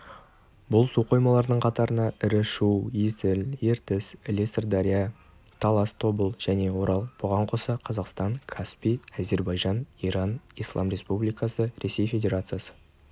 бұл су қоймаларының қатарына ірі шу есіл ертіс іле сыр-дария талас тобыл және орал бұған қоса қазақстан каспий әзербайжан иран ислам республикасы ресей федерациясы